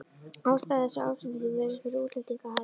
Ástæða þessa ásetnings virðist vera útlendingahatur.